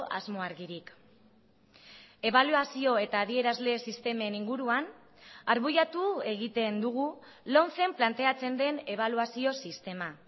asmo argirik ebaluazio eta adierazle sistemen inguruan arbuiatu egiten dugu lomcen planteatzen den ebaluazio sistema